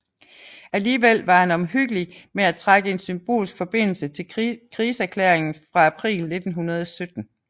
Alligevel var han omhyggelig med at trække en symbolsk forbindelse til krigserklæringen fra april 1917